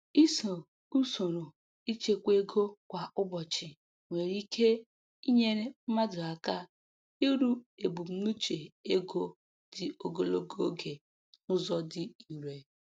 Ịso usoro ịchekwa ego kwa ụbọchị nwere ike inyere mmadụ aka iru ebumnuche ego dị ogologo oge n'ụzọ dị irè.